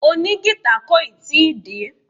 Òní gìtá kò ì tí ì dé.